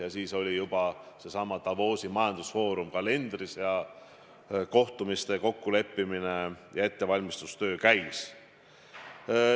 Ja siis oli juba Davosi majandusfoorum kalendris kirjas, käis kohtumiste kokkuleppimine ja muu ettevalmistustöö.